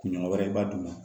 Kunɲɔgɔn wɛrɛ ba duguma